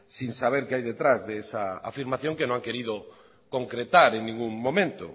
sin saber qué hay detrás de esa afirmación que no han querido concretar en ningún momento